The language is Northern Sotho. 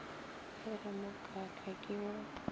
e re mokaka ke o